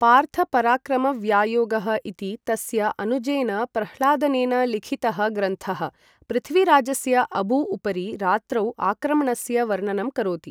पार्थ पराक्रम व्यायोगः इति तस्य अनुजेन प्रह्लादनेन लिखितः ग्रन्थः, पृथ्वीराजस्य अबू उपरि रात्रौ आक्रमणस्य वर्णनं करोति।